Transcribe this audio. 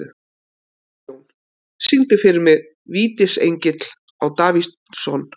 Kristjón, syngdu fyrir mig „Vítisengill á Davidson“.